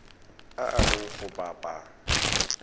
a a leng go bapa